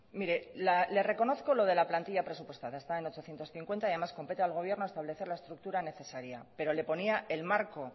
mire le reconozco lo de la plantilla presupuestaria está en ochocientos cincuenta y además compete al gobierno establecer la estructura necesaria pero le ponía el marco